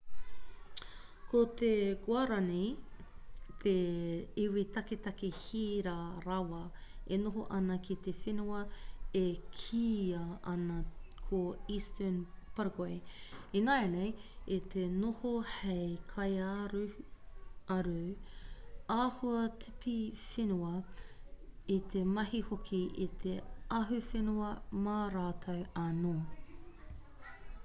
ko te guarani te iwi taketake hira rawa e noho ana ki te whenua e kīia ana ko eastern paraguay ināianei i te noho hei kaiaruaru āhua-tipiwhenua i te mahi hoki i te ahuwhenua mā rātou anō